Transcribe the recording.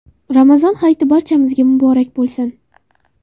Ramazon hayiti barchamizga muborak bo‘lsin!